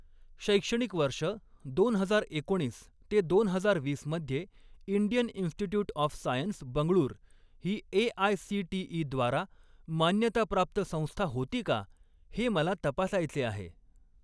शैक्षणिक वर्ष दोन हजार एकोणीस ते दोन हजार वीस मध्ये Indian Institute of Science Bengaluru ही ए.आय.सी.टी.ई.द्वारा मान्यताप्राप्त संस्था होती का हे मला तपासायचे आहे.